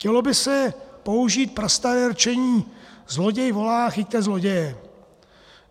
Chtělo by se použít prastaré rčení: Zloděj volá: chyťte zloděje!